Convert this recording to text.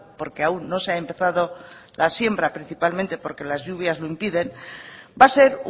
porque aún no se ha empezado la siembra principalmente porque las lluvias lo impiden va a ser